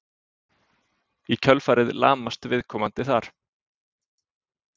Í kjölfarið lamast viðkomandi þar.